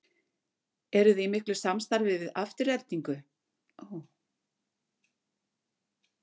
Eruði í miklu samstarfi við Aftureldingu?